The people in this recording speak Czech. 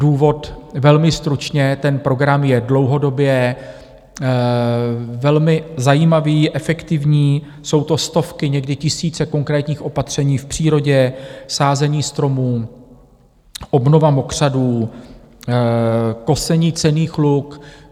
Důvod - velmi stručně, ten program je dlouhodobě velmi zajímavý, efektivní, jsou to stovky, někdy tisíce konkrétních opatření v přírodě - sázení stromů, obnova mokřadů, kosení cenných luk.